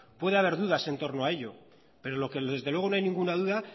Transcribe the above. puede haber dudas en torno a ello pero lo que desde luego no hay ninguna duda